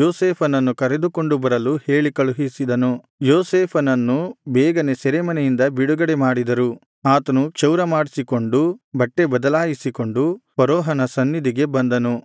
ಯೋಸೇಫನನ್ನು ಕರೆದುಕೊಂಡು ಬರಲು ಹೇಳಿಕಳುಹಿಸಿದನು ಯೋಸೇಫನನು ಬೇಗನೆ ಸೆರೆಮನೆಯಿಂದ ಬಿಡುಗಡೆ ಮಾಡಿದರು ಆತನು ಕ್ಷೌರಮಾಡಿಸಿಕೊಂಡು ಬಟ್ಟೆ ಬದಲಾಯಿಸಿಕೊಂಡು ಫರೋಹನ ಸನ್ನಿಧಿಗೆ ಬಂದನು